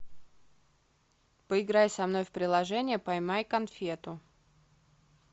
поиграй со мной в приложение поймай конфету